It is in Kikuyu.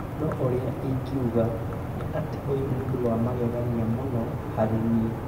No ũrĩa ĩngiuga nĩ atĩ ũyũ nĩ ũndũ wa magegania mũno harĩ niĩ.